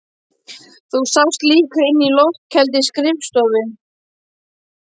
Þú sast líka inni á loftkældri skrifstofu